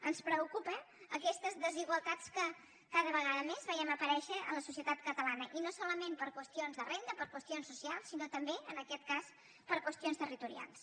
ens preocupen aquestes desigualtats que cada vegada més veiem aparèixer en la societat catalana i no solament per qüestions de renda per qüestions socials sinó també en aquest cas per qüestions territorials